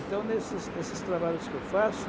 Então, nesses nesses trabalhos que eu faço...